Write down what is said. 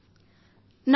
రెండో phone call